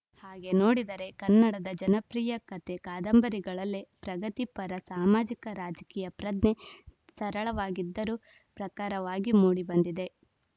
ಹಾಗೆ ನೋಡಿದರೆ ಕನ್ನಡದ ಜನಪ್ರಿಯ ಕತೆ ಕಾದಂಬರಿಗಳಲ್ಲೇ ಪ್ರಗತಿಪರ ಸಾಮಾಜಿಕ ರಾಜಕೀಯ ಪ್ರಜ್ಞೆ ಸರಳವಾಗಿದ್ದರೂ ಪ್ರಖರವಾಗಿ ಮೂಡಿ ಬಂದಿದೆ